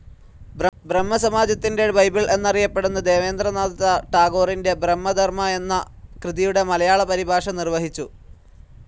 ബ്രഹ്മ സമാജത്തിന്റെ ബൈബിൾ എന്നറിയപ്പെട്ടിരുന്ന ദേവേന്ദ്ര നാഥ ടാഗോറിന്റെ ബ്രഹ്മധർമ്മ എന്ന കൃതിയുടെ മലയാള പരിഭാഷ നിർവഹിച്ചു.